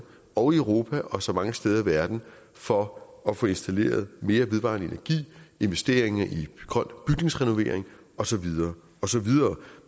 og i europa og så mange steder i verden som for at få installeret mere vedvarende energi investeringer i grøn bygningsrenovering og så videre og så videre